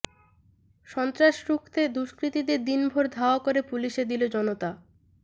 সন্ত্রাস রুখতে দুষ্কৃতীদের দিনভর ধাওয়া করে পুলিশে দিল জনতা